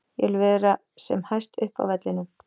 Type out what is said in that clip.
Ég vil vera sem hæst upp á vellinum.